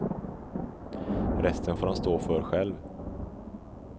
Resten får han stå för själv.